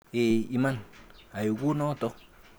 Eeh iman, ai kunoto.